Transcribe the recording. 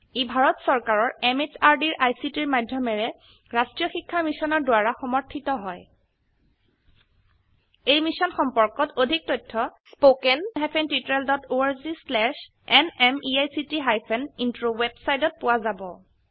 ই ভাৰত চৰকাৰৰ MHRDৰ ICTৰ মাধয়মেৰে ৰাস্ত্ৰীয় শিক্ষা মিছনৰ দ্ৱাৰা সমৰ্থিত হয় এই মিশ্যন সম্পৰ্কত অধিক তথ্য spoken hyphen tutorial dot org slash এনএমইআইচিত হাইফেন ইন্ট্ৰ ৱেবচাইটত পোৱা যাব